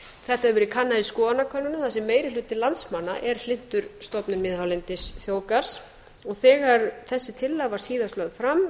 þetta hefur verið kannað í skoðanakönnunum þar sem meiri hluti landsmanna er hlynntur stofnun miðhálendisþjóðgarðs þegar þessi tillaga var síðast lögð fram